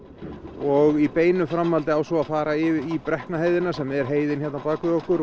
og í beinu framhaldi á svo að fara í Brekknaheiðina sem er heiðin hérna á bak við okkur